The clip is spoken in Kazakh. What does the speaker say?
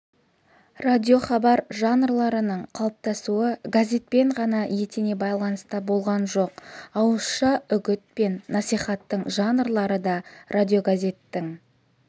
радиохабар жанрларының қалыптасуы газетпен ғана етене байланыста болған жоқ ауызша үгіт пен насихаттың жанрлары да радиогазеттің